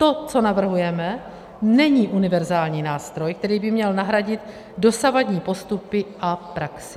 To, co navrhujeme, není univerzální nástroj, který by měl nahradit dosavadní postupy a praxi.